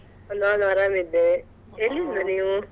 ನಾನ್ ಅರಾಮಿದ್ದೆ. ಎಲ್ಲಿದ್ರಾ ನೀವು?